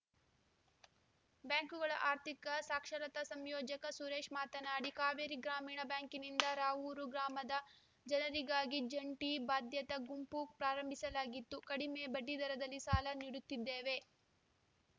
ಬ್ಯಾಂಕುಗಳ ಆರ್ಥಿಕ ಸಾಕ್ಷರತಾ ಸಂಯೋಜಕ ಸುರೇಶ್‌ ಮಾತನಾಡಿ ಕಾವೇರಿ ಗ್ರಾಮೀಣ ಬ್ಯಾಂಕಿನಿಂದ ರಾವೂರು ಗ್ರಾಮದ ಜನರಿಗಾಗಿ ಜಂಟಿ ಬಾಧ್ಯತಾ ಗುಂಪು ಪ್ರಾರಂಭಿಸಲಾಗಿತ್ತು ಕಡಿಮೆ ಬಡ್ಡಿದರದಲ್ಲಿ ಸಾಲ ನೀಡುತ್ತಿದ್ದೇವೆ